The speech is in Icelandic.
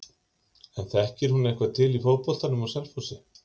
En þekkir hún eitthvað til í fótboltanum á Selfossi?